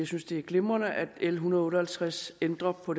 synes det er glimrende at l en hundrede og halvtreds ændrer på